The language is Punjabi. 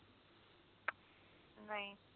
ਨਹੀਂ